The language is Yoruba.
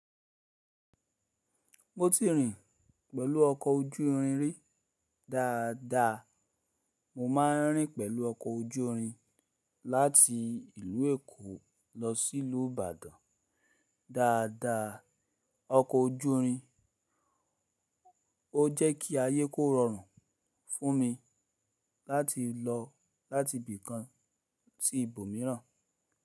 Mo ti rìn pẹ̀lú ọkọ̀ ojú irin rí dáadáa. Mo máa ń rìn pẹ̀lú ọkọ̀ ojú irin láti ìlú Èkó lọ sí ìlú Ìbàdàn dáadáa. Ọkọ̀ ojú irin ó jẹ́ kí ayé kó rọrùn fún mi láti lọ láti ibì kan sí ibòmíràn.